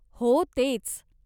हो, तेच.